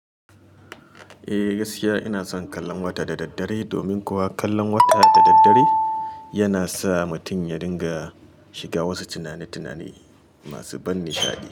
Eh gaskiya ina son kallon wata da daddare, domin kuwa kallon wata da daddare yana sa mutum ya dinga shiga wasu tunani-tunane masu ban nishaɗi.